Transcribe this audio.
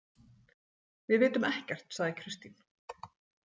Við vitum ekkert, sagði Kristín.